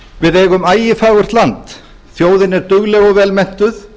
við eigum ægifagurt land þjóðin er dugleg og vel menntuð